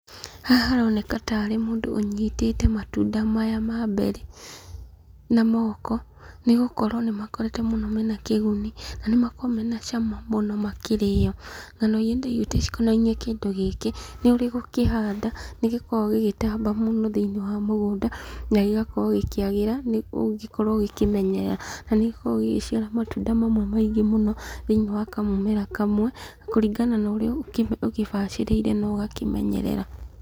Haha haroneka ta arĩ mũndũ ũnyitĩte matunda maya ma mberĩ na moko. Nĩgũkorwo nĩmakoretwo mũno me na kĩguni, na nĩmakoo me na cama mũno makĩrĩo. Ng'ano iria ndaiguĩte cikonai-inĩ kĩndũ gĩkĩ, nĩ ũrĩ gũkĩhanda nĩ gĩkoo gĩgĩtamba mũno thĩiniĩ wa mũgũnda, na gĩgakĩrwo gĩkĩagĩra, ũngĩkorwo ũgĩkĩmenyerera. Na nĩgĩkoragwo gĩgĩciara matunda mamwe maingĩ mũno thĩiniĩ wa kamũmera kamwe, kũringana na ũrĩa ũgĩbacĩrĩire na ũgakĩmenyerera.